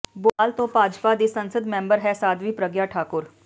ਭੋਪਾਲ ਤੋਂ ਭਾਜਪਾ ਦੀ ਸੰਸਦ ਮੈਂਬਰ ਹੈ ਸਾਧਵੀ ਪ੍ਰਗਿਆ ਠਾਕੁਰ